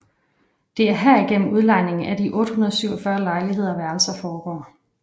Det er herigennem udlejningen af de 847 lejligheder og værelser foregår